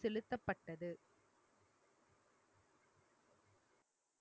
செலுத்தப்பட்டது